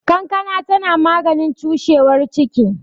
Kankana tana maganin cushewar ciki